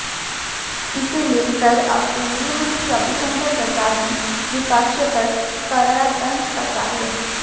इसे लेकर अब केंद्रीय मंत्री रविशंकर प्रसाद ने विपक्ष पर करारा तंज कसा है